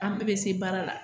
An bɛɛ bɛ se baara la